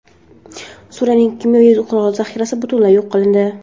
Suriyaning kimyoviy qurol zaxirasi butunlay yo‘q qilindi.